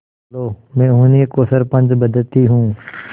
लो मैं उन्हीं को सरपंच बदती हूँ